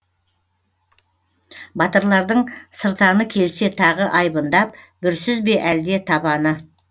батырлардың сыртаны келсе дағы айбындап бүрсіз бе әлде табаны